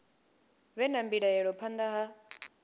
vhe na mbilaelo phanḓa ha